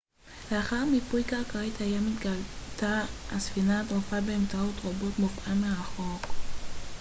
לאחר מיפוי קרקעית הים התגלתה הספינה הטרופה באמצעות רובוט מופעל מרחוק